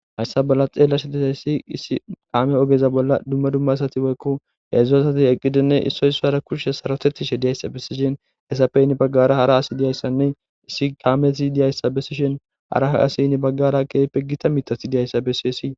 Hayssa balla xeella shitetayssi issi kaame ogeza bolla dumma dumma sati woykko yaedzdzu asati eqqidinne issoy swara kurshe sarotettishe diyayssa besishin esappeynni baggara hara asi diyayssanne issi kaameti diyayssa bessishin haraha asi nni baggara keeyppe gita mithati diyayssa bessiesii.